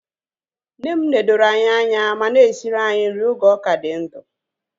Nne m nedoro anyị anya ma na-esiri anyị nri oge ọ ka dị ndụ